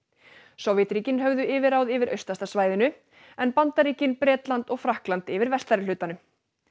Sovétríkin höfðu yfirráð yfir austasta svæðinu en Bandaríkin Bretland og Frakkland yfir vestari hlutanum